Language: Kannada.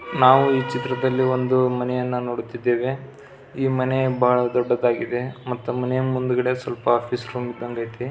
ನಾವು ಈ ಚಿತ್ರದ್ಲಲಿ ಒಂದು ಮನೆಯನ್ನು ನೋಡುತ್ತಿದ್ದೇವೆ ಈ ಮನೆ ಬಹಳ ದೊಡ್ಡದಾಗಿದೆ ಮತ್ತ ಮನೆ ಮುಂದೆ ಸ್ವಲ್ಪ ಆಫಿಸ್ ರೂಮ್ ಇದಂಗ್ ಐತೆ.